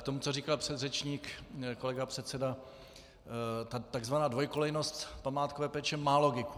K tomu, co říkal předřečník kolega předseda, takzvaná dvojkolejnost památkové péče má logiku.